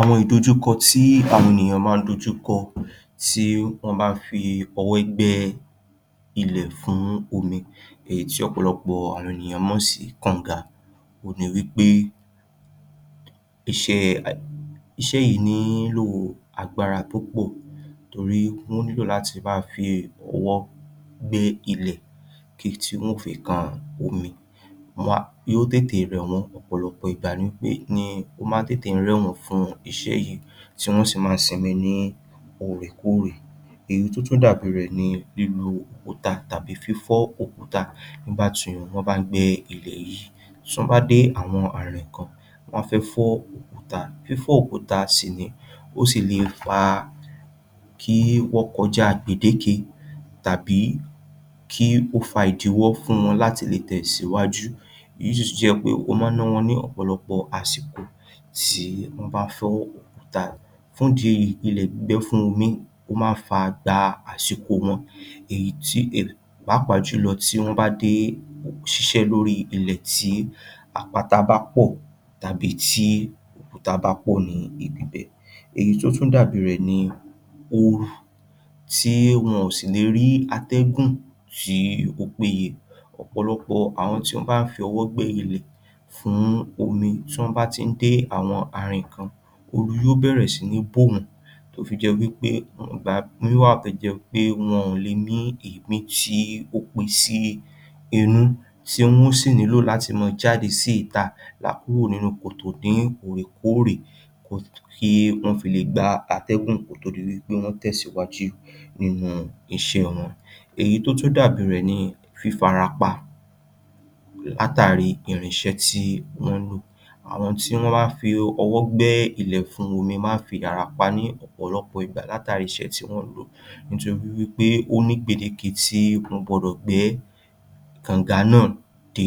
Àwọn ìdojúkọ tí àwọn ènìyàn máa ń dojú kọ tí wọ́n bá ń fi ọwọ́ gbẹ́ ilẹ̀ fún omi èyí tí ọ̀pọ̀lọpọ̀ ènìyàn mọ̀ sí kànga òhun ni wí pé um iṣẹ́ yìí nílò agbára púpọ̀ torí wọ́n nílò láti máa fi ọwọ́ gbẹ́ ilẹ̀ títí wọn ó fi kan omi um yóò tètè rẹ̀ wọ́n. Ọ̀pọ̀lọpọ̀ ìgbà ni ó máa ń tètè rẹ̀ wọ́n fún iṣẹ́ yìí, tí wọ́n sì máa ń sinmi ní òrèkóòrè. Èyí tó tún dàbí rẹ̀ ní lílu òkúta tàbí fífọ́ òkúta nígbà tí wọ́n bá ń gbẹ́ ilẹ̀ yìí. Tí wọ́n bá dé àwọn ààrin kan, wọ́n á fẹ́ fọ́ òkúta. Fífọ́ òkúta sì rè é, ó sì le fa kí ó kọjá gbèdéke tàbí kí ó fa ìdíwọ́ fún wọn láti lè tẹ̀síwájú um ó máa ń ná wọn ní ọ̀pọ̀lọpọ̀ àsìkò tí wọ́n bá ń fọ́ òkúta fún ìdí èyí ilẹ̀ gbígbẹ́ fún omi, ó máa ń fa gba àsìkò wọn èyí tí um pàápàá jùlọ tí wọ́n bá dé um ilẹ̀ tí àpáta bá pọ̀ tàbí tí òkúta bá pọ̀ ní ibi bẹ̀. Èyí tó tú dàbí rẹ̀ ni oru, tí wọn ò sì ní rí atẹ́gùn tí ó péye. Ọ̀pọ̀lọpọ̀ àwọn tí wọ́n bá fi ọwọ́ gbẹ́ ilẹ̀ fún omi, tí wọ́n bá ti ń dé àwọn ààrin kan, oru yóó bẹ̀rẹ̀ sí ní bò wọ́n, tó fi jẹ́ wí pé, ìgbà mìíràn wà tó jẹ́ pé wọn ò lè mí èémí tó pín sí inú; ti wọn ó sì nílò láti máa jade sí ìta um kúrò nínú kòtò ní òrèkóòrè um kí wọ́n fi le gba atẹ́gùn kó tó di wí pé wọ́n tẹ̀sìwájú nínú iṣẹ́ wọn. Èyí tó tún dàbí rẹ̀ ni fífarapa látàri irinṣẹ́ tí wọn ń lò. Àwọn tí wọ́n máa ń fi ọwọ́ gbẹ́ ilẹ̀ fún omi máa ń fi ara pa ní ọ̀pọ̀lọpọ̀ ìgbà látàri irinṣẹ́ tí wọ́n ń lò, nítorí wí pé ó ní ipele tí wọ́n gbọ́dọ̀ gbẹ́ kànga náà dé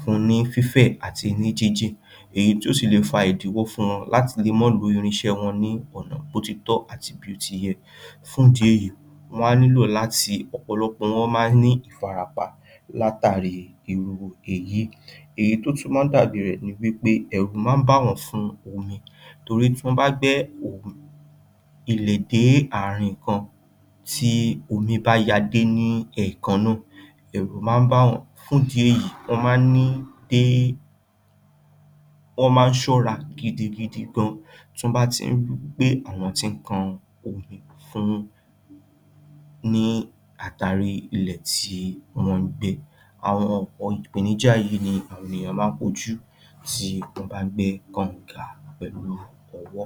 fún ní fífẹ̀ àti ní jínjìn, èyí tó sì le fa ìdíwọ́ fún wọn láti le má lo irinṣẹ́ wọn ní ọ̀nà bó ti tọ́ àti bó ti yẹ, fún ìdí èyí, wọ́n á nílò láti, ọ̀pọ̀lọpọ̀ máa ń ní ìfarapa látàri irú èyí. Èyí tó tún máa ń dàbí rẹ̀ ni wí pé, ẹ̀rù máa ń bà wọ́n fún omi torí tí wọ́n bá gbẹ́ um dé ààrin kan, tí omi bá ya dé ní ẹ̀ẹ̀kan náà, ẹ̀rù máa ń bà wọ́n. Fún ìdí èyí, wọ́n máa ń ni pé wọ́n máa ń ṣọra gidigidi gan-an tọ́n bá ti ń ri pé àwọn ti ń kan omi fún àtarí ilẹ̀ tí wọn ń gbẹ́. Ọ̀pọ̀ àwọn ìpèníjà yìí ni àwọn èèyàn máa ń kojú bí wọ́n bá ń gbẹ́ kanga pẹ̀lú ọwọ́.